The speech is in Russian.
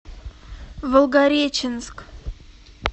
волгореченск